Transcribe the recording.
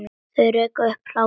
Og rekur upp hlátur.